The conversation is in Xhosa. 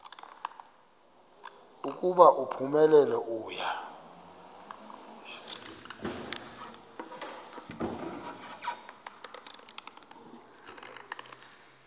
ukuba uphumelele uya